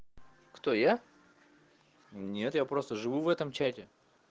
кто я нет я просто живу в этом чате